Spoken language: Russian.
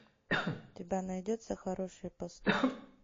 у тебя найдется хорошие поступки